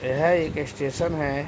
यह एक स्टेशन है।